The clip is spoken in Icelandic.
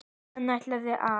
Hann ætlaði að.